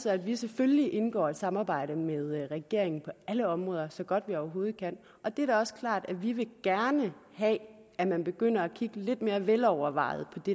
at vi selvfølgelig indgår i et samarbejde med regeringen på alle områder så godt vi overhovedet kan og det er da også klart at vi gerne vil have at man begynder at kigge lidt mere velovervejet på det